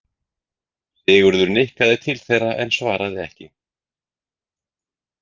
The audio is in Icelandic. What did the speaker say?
Sigurður nikkaði til þeirra en svaraði ekki.